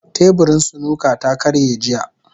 Teburin snooker ta karye jiya.